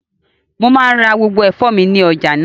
Mo maa ńra gbogbo ẹfọ mi ni ọja naa.